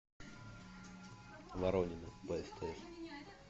воронины на стс